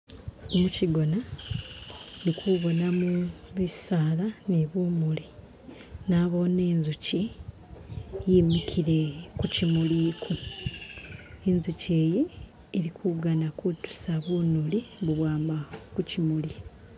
Muchigona indi kubonamo bisaala ni bumuli Nabone inzuchi yimikile kuchimuli uku, inzuchi yi ilikugana kutusa bunuli bubwama kuchimuli.